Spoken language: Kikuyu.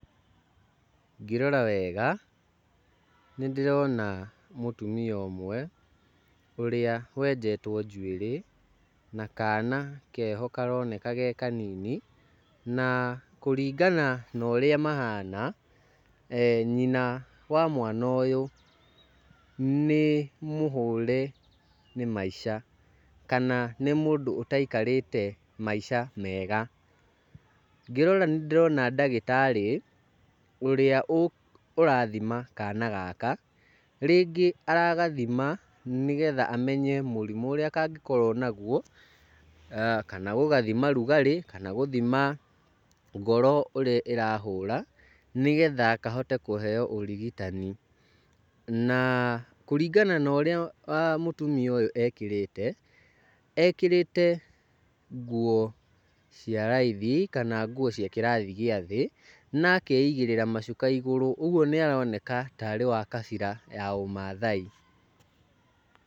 Ngĩrora wega, nĩ ndĩrona mũtumia ũmwe ũrĩa wenjetwo njuĩrĩ na kana keho karoneka ge kanini, na kũringana na urĩa mahana, nyina wa mwana ũyũ nĩ mũhũre nĩ maica, kana nĩ mũndũ ũtaikarĩte maica mega. Ngĩrora nĩ ndĩrona ndagĩtarĩ ũrĩa ũrathima kana gaka, rĩngĩ aragathima nĩgetha amenye mũrimũ ũrĩa kangĩkorwo naguo, kana gugathima ũrugarĩ, kana gũthima ngoro ũrĩa ĩrahũra nĩgetha kahote kũheo ũrigitani. Na kũringana na ũrĩa mũtumia ũyũ ekĩrĩte, ekĩrĩte nguo cia raithi kana nguo cia kĩrathi gĩa thĩ na akeigĩrĩra macuka igũrũ, ũguo nĩ aroneka ta arĩ wa kabira ya ũmaathai.